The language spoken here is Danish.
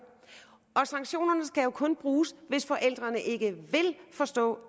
sanktionerne skal jo kun bruges hvis forældrene ikke vil forstå